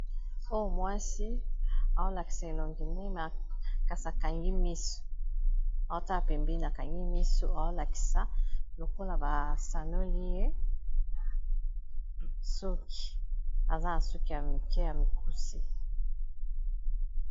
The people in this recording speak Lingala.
Oyo mwasi, aolakisa elongi kasi akangi miso. Aotala pembi akangi miso. Aolakisa lokola ba sanoli ye soki, aza na suki ya mike ya mikusi.